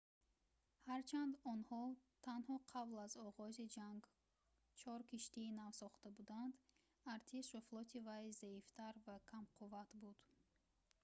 ҳарчанд онҳо танҳо қабл аз оғози ҷанг чор киштии нав сохта буданд артиш ва флоти вай заифтар ва камқувват буд